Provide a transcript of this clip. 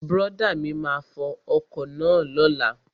Brọ̀dá mi máa fo ọkọ̀ náà lóla